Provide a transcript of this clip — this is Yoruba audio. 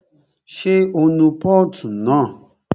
Ṣé o nu pọ́ọ̀tù náà?